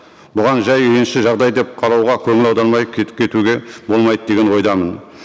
бұған жай үйренішті жағдай деп қарауға көңіл аудармай кетуге болмайды деген ойдамын